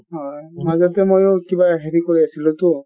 হয় | মাজতে ময়ো কিবা হেৰী কৰি অছিলো টো